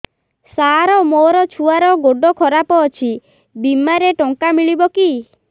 ସାର ମୋର ଛୁଆର ଗୋଡ ଖରାପ ଅଛି ବିମାରେ ଟଙ୍କା ମିଳିବ କି